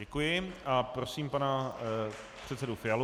Děkuji a prosím pana předsedu Fialu.